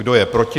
Kdo je proti?